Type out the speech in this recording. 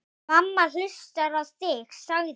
Mamma hlustar á þig, sagði